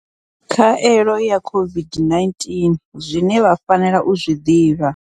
Khaelo ya COVID-19 zwine vha fanela u zwi ḓivha.